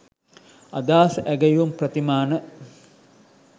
අදහස් ඇගයුම් ප්‍රතිමාන